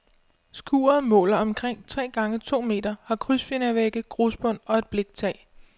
Skuret måler omkring tre gange to meter, har krydsfinervægge, grusbund og et bliktag.